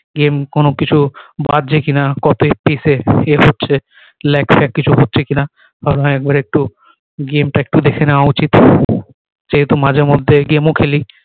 game কোনো কিছু কি না কি save হচ্ছে lag ফ্যাক কিছু হচ্ছে কি না একবার একটু game টা একটু দেখে নেওয়া উচিৎ যেহেতু মাঝে মধ্যে game ও খেলি